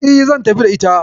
E, zan tafi da ita.